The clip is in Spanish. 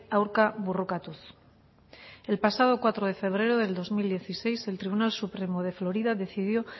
aurka borrokatuz el pasado cuatro de febrero del dos mil dieciséis el tribunal supremo de florida decidió